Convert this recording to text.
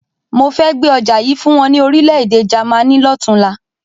Mo fẹ́ gbé ọjà yìí fún wọn ní Orílẹ̀-èdè Jàmaní lọ́tunla.